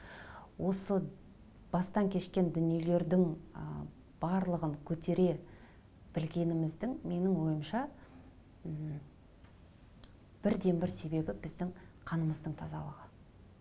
осы бастан кешкен дүниелердің ы барлығын көтере білгеніміздің менің ойымша м бірден бір себебі біздің қанымыздың тазалығы